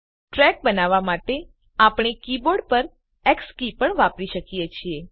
track બનાવવા માટે આપણે કીબોર્ડ પરની એક્સ કી પણ વાપરી શકીએ છીએ